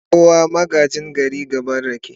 kawo magagin gayi gaban raki.